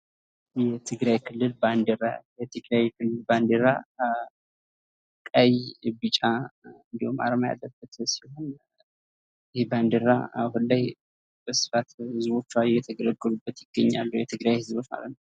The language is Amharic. የትግራይ ክልል ባንዲራ፤ የትግራይ ክልል ባንዲራ ቀይ፣ ቢጫ እንዲሁም አርማ ያለበት ሲሆን ይህ ባንዲራ አሁን ላይ በስፋት ህዝቦችዋ የተገለገሉበት ይገኛሉ የትግራይ ህዝቦዎች ማለት ነው።